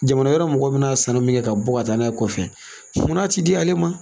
Jamana wɛrɛ mɔgɔw bɛ n'a sanni min kɛ ka bɔ ka taa n'a ye kɔfɛ mun na a tɛ di ale ma.